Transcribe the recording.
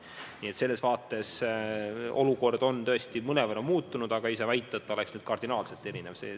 Nii et selles vaates olukord on tõesti mõnevõrra muutunud, aga ei saa väita, et see oleks kardinaalselt erinev.